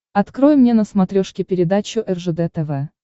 открой мне на смотрешке передачу ржд тв